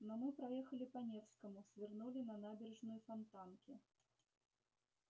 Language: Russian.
но мы проехали по невскому свернули на набережную фонтанки